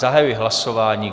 Zahajuji hlasování.